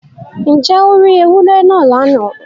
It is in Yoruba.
Ǹjẹ́ o rí èwúrẹ̀ náà lána?